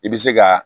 I bɛ se ka